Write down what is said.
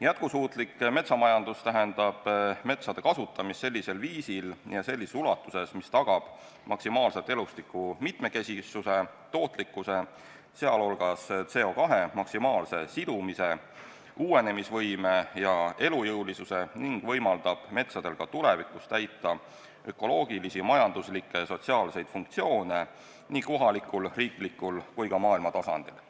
Jätkusuutlik metsamajandus tähendab metsade kasutamist sellisel viisil ja sellises ulatuses, mis tagab maksimaalselt elustiku mitmekesisuse, tootlikkuse, sh CO2 maksimaalse sidumise, uuenemisvõime ja elujõulisuse, ning võimaldab metsadel ka tulevikus täita ökoloogilisi, majanduslikke ja sotsiaalseid funktsioone nii kohalikul, riiklikul kui ka maailma tasandil.